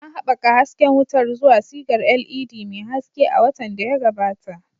An haɓaka hasken wutar zuwa sigar LED mai haske a watan da ya gabata.